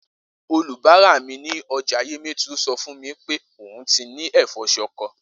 Olùbárà mi ní o̩jà Yemetu so̩ fún mi pe òun ti ní è̩fó̩ s̩o̩ko̩